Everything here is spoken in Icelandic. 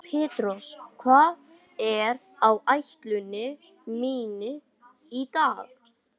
Petrós, hvað er á áætluninni minni í dag?